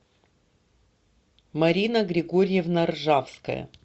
марина григорьевна ржавская